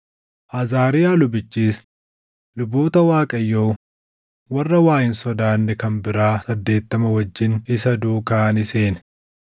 Azaariyaa lubichis luboota Waaqayyoo warra waa hin sodaanne kan biraa saddeettama wajjin isa duukaa ni seene.